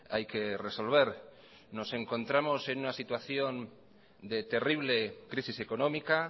hay que resolver nos encontramos en una situación de terrible crisis económica